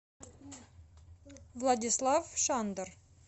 владислав шандер